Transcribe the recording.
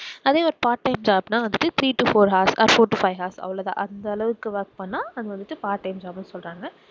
அதே ஒரு part time job னா வந்துட்டு three to four hours or four to five hours அவ்வளவு தான் அந்த அளவுக்கு work பண்ணினா அதை வந்துட்டு part time job னு சொல்லுறாங்க